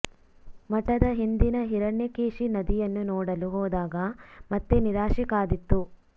ಮಠದ ಹಿಂದಿನ ಹಿರಣ್ಯಕೇಶಿ ನದಿಯನ್ನು ನೋಡಲು ಹೋದಾಗ ಮತ್ತೆ ನಿರಾಶೆ ಕಾದಿತ್ತು